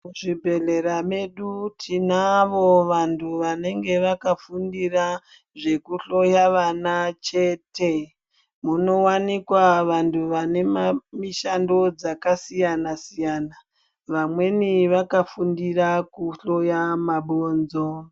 Muzvibhehlera medu tinavo vanhu vanenge vakafundira zvekuhloya vana chete munowanikwa vanhu vane mishando dzakasiyanasiyana vamweni vakafundira kuhloya mabhonzo.